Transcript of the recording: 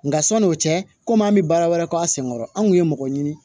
Nka sɔn'o cɛ komi an bɛ baara wɛrɛ kɛ a senkɔrɔ anw kun ye mɔgɔ ɲini